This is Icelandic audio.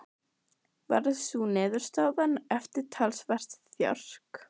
Varð sú niðurstaðan eftir talsvert þjark.